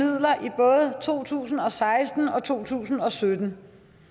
og to tusind og seksten og to tusind og sytten